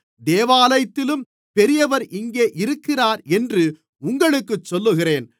தேவாலயத்திலும் பெரியவர் இங்கே இருக்கிறார் என்று உங்களுக்குச் சொல்லுகிறேன்